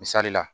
Misali la